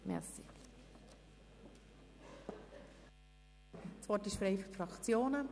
Das Wort ist frei für die Fraktionen.